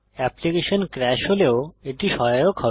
application crash হলেও এটি সহায়ক হবে